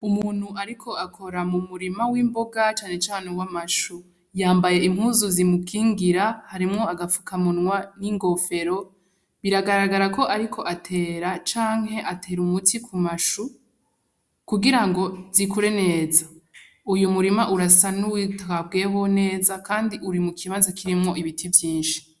Umuntu ariko akora mumurima w'imboga cane cane w'amashu. Yambaye impuzu zimukingira, harimwo agafukamunwa n'ingofero. Biragaragara ko ariko atera canke atera umuti kumashu kugirango zikure neza. uyo murima urasa n'uwitaweho neza kandi uri mukibanza kirimwo ibiti vyinshi.